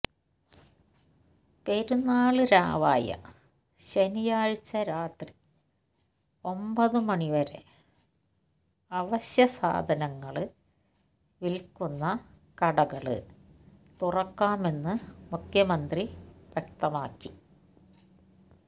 പെരുന്നാള് രാവായ ശനിയാഴ്ച്ച രാത്രി ഒമ്പത് മണിവരെ അവശ്യസാധനങ്ങള് വില്ക്കുന്ന കടകള് തുറക്കാമെന്ന് മുഖ്യമന്ത്രി വ്യക്തമാക്കി